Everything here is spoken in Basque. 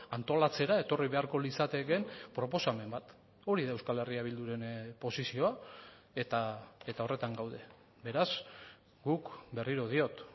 antolatzera etorri beharko litzatekeen proposamen bat hori da euskal herria bilduren posizioa eta horretan gaude beraz guk berriro diot